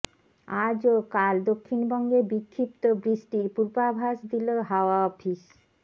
আজ ও কাল দক্ষিণবঙ্গে বিক্ষিপ্ত বৃষ্টির পূর্বাভাস দিল হাওয়া অফিস